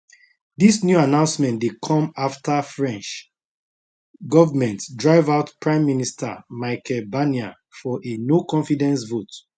dis new announcement dey come afta french govment drive out prime minister michel barnier for a noconfidence vote